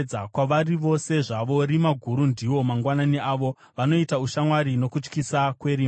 Kwavari vose zvavo, rima guru ndiwo mangwanani avo; vanoita ushamwari nokutyisa kwerima.